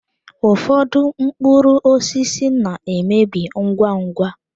Ụfọdụ mkpụrụ osisi na-emebi ngwa ngwa.